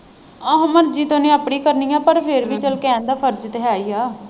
ਆਹੋ ਮਰਜੀ ਤੇ ਉਹਨੇ ਆਪਣੀ ਕਰਨੀ ਹੈ ਪਰ ਫਿਰ ਵੀ ਚੱਲ ਕਹਿਣ ਦਾ ਫਰਜ ਤੇ ਹੈ ਹੀ ਹੈ।